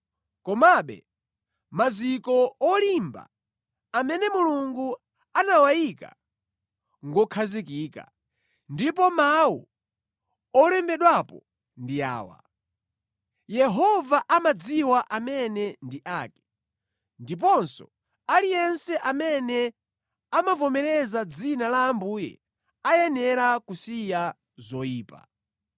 Komabe maziko olimba, amene Mulungu anawayika ngokhazikika, ndipo mawu olembedwapo ndi awa: “Yehova amadziwa amene ndi ake,” ndiponso, “Aliyense amene amavomereza dzina la Ambuye ayenera kusiya zoyipa.”